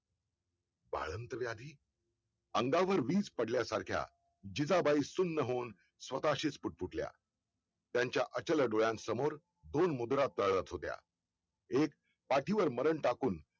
बाळंतव्याधी अंगावर वीज पडल्या सारख्या जिजाबाई सुन्न होऊन स्वतःशीच फुटाफुटल्या. त्यांच्या अचल डोळ्यांसमोर दोन मुद्रा स्तळात होत्या एक पाठीवर मरण टाकून